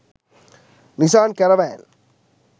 nisan caravan